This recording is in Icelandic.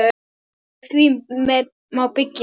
Á því má byggja.